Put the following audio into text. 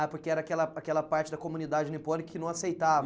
Ah, porque era aquela aquela parte da comunidade nipônica que não aceitava?